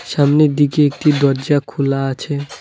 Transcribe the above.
সামনের দিকে একটি দরজা খোলা আছে।